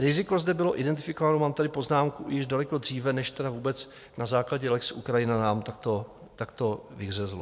Riziko zde bylo identifikováno, mám tady poznámku, již daleko dříve než tedy vůbec na základě lex Ukrajina nám takto vyhřezlo.